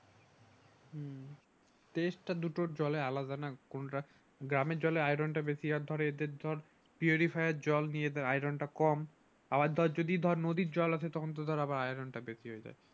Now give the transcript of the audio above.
হম টেস্টটা দুটো জলের আলাদা না কোনটা গ্রামে চলে আয়রন টা বেশি আর